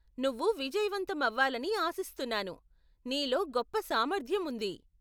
నువ్వు విజయవంతం అవ్వాలని ఆశిస్తున్నాను, నీలో గొప్ప సామర్థ్యం ఉంది.